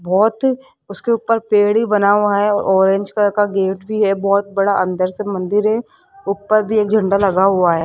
बहोत उसके ऊपर पेड़ी बना हुआ है ऑरेंज कलर का गेट भी है बहोत बड़ा अंदर से मंदिर है ऊपर भी एक झंडा लगा हुआ है।